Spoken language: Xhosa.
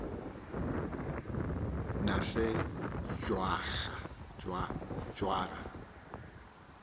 nesejwarha